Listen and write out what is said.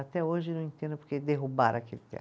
Até hoje não entendo porque derrubaram aquele teatro.